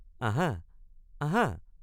আহা আহা।